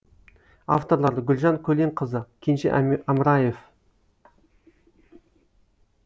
авторлары гүлжан көленқызы кенже амраев